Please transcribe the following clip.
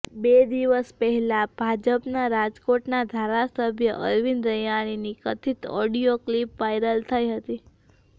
બે દિવસ પહેલા ભાજપના રાજકોટના ધારાસભ્ય અરવિંદ રૈયાણીની કથિત ઓડિયો ક્લિપ વાયરલ થઈ હતી